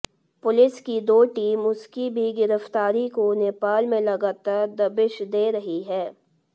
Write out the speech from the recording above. police की दो team उसकी भी गिरफ्तारी को नेपाल में लगातार दबिश दे रही है